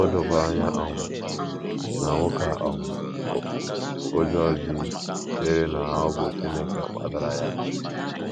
O dokwara anya um na nwoke a um ụjọ ji chere na ọ bụ Chineke kpatara ya.